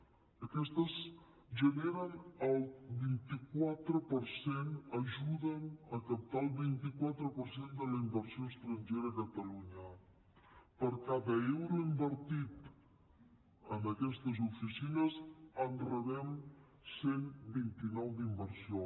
aquestes generen el vint quatre per cent ajuden a captar el vint quatre per cent de la inversió estrangera a catalunya per cada euro invertit en aquestes oficines en rebem cent i vint nou d’inversió